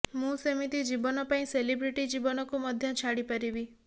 ମୁଁ ସେମିତି ଜୀବନ ପାଇଁ ସେଲିବ୍ରେଟୀ ଜୀବନକୁ ମଧ୍ୟ ଛାଡିପାରିବି